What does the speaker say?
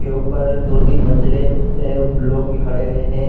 के ऊपर दो-तीन मंजीले है लोग भी खड़े हुए हैं।